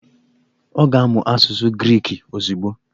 Ọ ga-amụ asụsụ Griki ozugbo?